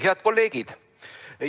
Head kolleegid!